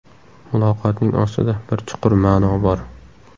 Muloqotning ostida bir chuqur ma’no bor.